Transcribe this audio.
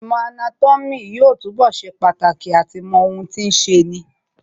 Īmò anátómī yóò túnbọ̀ ṣe pàtàkì àti mọ ohun tí ń ṣeni